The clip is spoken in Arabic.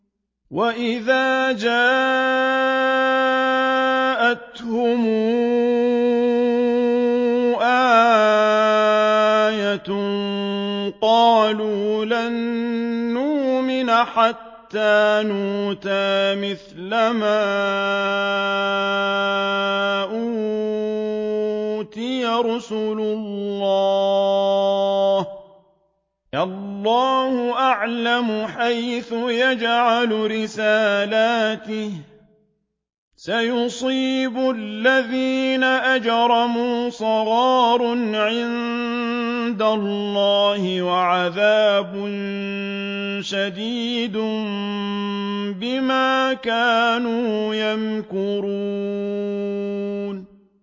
وَإِذَا جَاءَتْهُمْ آيَةٌ قَالُوا لَن نُّؤْمِنَ حَتَّىٰ نُؤْتَىٰ مِثْلَ مَا أُوتِيَ رُسُلُ اللَّهِ ۘ اللَّهُ أَعْلَمُ حَيْثُ يَجْعَلُ رِسَالَتَهُ ۗ سَيُصِيبُ الَّذِينَ أَجْرَمُوا صَغَارٌ عِندَ اللَّهِ وَعَذَابٌ شَدِيدٌ بِمَا كَانُوا يَمْكُرُونَ